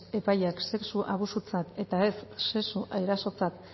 epaileak sexu abusutzat eta ez sexu erasotzat